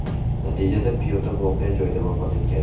Natijada piyoda voqea joyida vafot etgan.